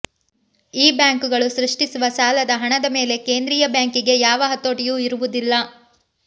ಈ ಬ್ಯಾಂಕುಗಳು ಸೃಷ್ಟಿಸುವ ಸಾಲದ ಹಣದ ಮೇಲೆ ಕೇಂದ್ರೀಯ ಬ್ಯಾಂಕಿಗೆ ಯಾವ ಹತೋಟಿಯೂ ಇರುವುದಿಲ್ಲ